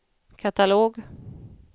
katalog